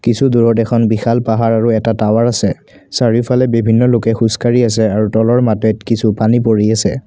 কিছু দূৰত এখন বিশাল পাহাৰ আৰু এটা টাৱাৰ আছে চাৰিওফালে বিভিন্ন লোকে খোজকাঢ়ি আছে আৰু তলৰ মাটিত কিছু পানী পৰি আছে।